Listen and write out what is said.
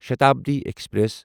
Shatabdi express